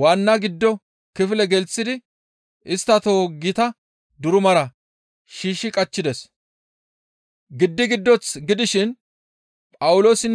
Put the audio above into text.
waanna giddo kifile gelththidi istta toho gita durumara shiishshi qachchides. Phawuloosa tohotinne Sillaase tohoti duruma giddon waaxetti dishin